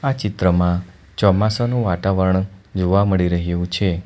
આ ચિત્રમાં ચોમાસાનુ વાતાવરણ જોવા મળી રહ્યુ છે.